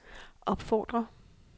opfordrer